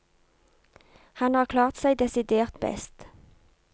Han har klart seg desidert best.